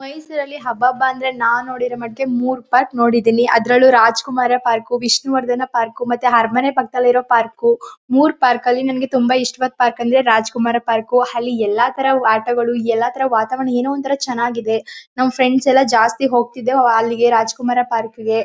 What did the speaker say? ಮೈಸೂರಲ್ಲಿ ಹಬ್ಬಬ ಅಂದ್ರೆ ನಾವ್ ನೊಡಿರೋ ಮಟ್ಟಕ್ ಮೂರ್ ಪಾರ್ಕ್ ನೋಡಿದಿನಿ ಅದ್ರಲ್ಲು ರಾಜಕುಮಾರ ಪಾರ್ಕು ವಿಷ್ಣುವರ್ಧನ ಪಾರ್ಕು ಮತ್ತೆ ಅರ್ಮನೆ ಪಕ್ಕದಲ್ಲಿ ಇರೋ ಪಾರ್ಕು ಮೂರ್ ಪಾರ್ಕಲ್ಲಿ ನಂಗೆ ತುಂಬಾ ಇಷ್ಟವಾದ್ ಪಾರ್ಕ್ ಅಂದ್ರೆ ರಾಜಕುಮಾರ ಪಾರ್ಕು ಅಲ್ಲಿ ಎಲ್ಲಾ ತರ ಆಟಗಳು ಎಲ್ಲಾ ತರ ವಾತವರಣ ಏನೋ ಒಂತರ ಚೆನಾಗಿದೆ ನಮ್ ಫ್ರೆಂಡ್ಸ್ ಎಲ್ಲ ಜಾಸ್ತಿ ಹೋಗ್ತಿದ್ರು ಅಲ್ಲಿಗೆ ರಾಜಕುಮಾರ ಪಾರ್ಕ್ಗೆ .